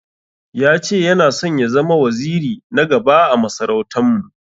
Ya che Yana son ya zama waziri na gaba ã masarautan mu.